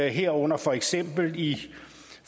herunder for eksempel i